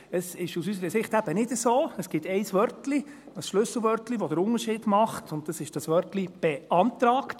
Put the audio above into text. Es ist aus unserer Sicht eben nicht so, es gibt ein Wörtchen, ein Schlüsselwörtchen, das den Unterschied macht, und das ist das Wörtchen «beantragt».